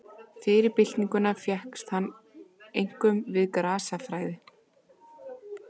Fyrir byltinguna fékkst hann einkum við grasafræði.